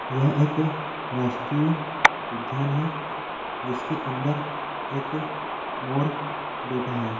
यह एक राष्ट्रीय उद्यान है जिसके अंदर एक मोर बैठा है।